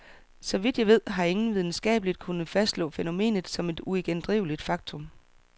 Så vidt jeg ved, har ingen videnskabeligt kunnet fastslå fænomenet som et uigendriveligt faktum.